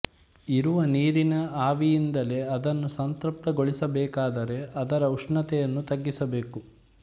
ಇರುವ ನೀರನ ಆವಿಯಿಂದಲೇ ಅದನ್ನು ಸಂತೃಪ್ತಗೊಳಿಸಬೇಕಾದರೆ ಅದರ ಉಷ್ಣತೆಯನ್ನು ತಗ್ಗಿಸಬೇಕು